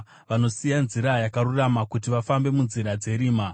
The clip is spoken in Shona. vanosiya nzira yakarurama kuti vafambe munzira dzerima,